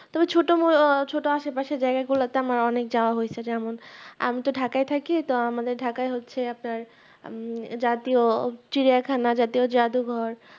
তবে ছোট মো আহ ছোট আশে পাশে জায়গা গুলাতে আমার অনেক যাওয়া হৈছে যেমন আমি তো ঢাকা থাকি তা আমাদের ঢাকা হচ্ছে আপনার উম জাতীয় চিড়িয়াখানা জাতীয় জাদু ঘর